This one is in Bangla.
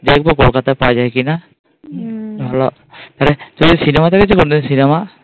পাওয়া যায় কিনা বলো তুমি সিনেমা দেখেছো? কোনদিন সিনেমা?